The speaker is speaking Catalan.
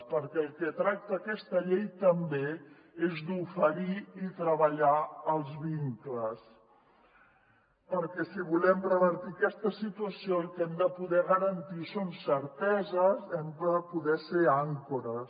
perquè del que tracta aquesta llei també és d’oferir i treballar els vincles perquè si volem revertir aquesta situació el que hem de poder garantir són certeses hem de poder ser àncores